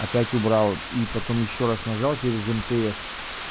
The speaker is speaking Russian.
опять убрал и потом ещё раз нажал через мтс